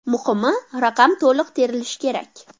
Muhimi raqam to‘liq terilishi kerak.